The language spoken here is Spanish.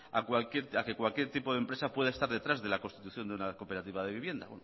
a que cualquier tipo de empresa pueda estar detrás de la construcción de una cooperativa de vivienda